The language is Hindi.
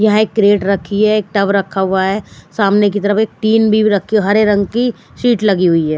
यहाँ एक क्रेड रखी है एक टव रखा हुआ है सामने की तरफ एक टीन भी रखी है हरे रंग की शीट लगी हुई है।